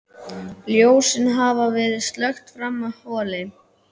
Ljósin hafa verið slökkt frammi í holi.